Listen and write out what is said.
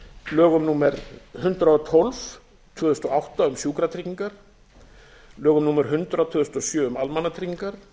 lögum númer hundrað og tólf tvö þúsund og átta um sjúkratryggingar lögum númer hundrað tvö þúsund og sjö um almannatryggingar